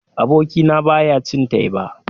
Abokina ba ya cin teba.